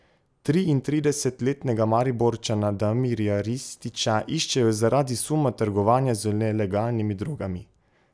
Triintridesetletnega Mariborčana Damirja Rističa iščejo zaradi suma trgovanja z nelegalnimi drogami.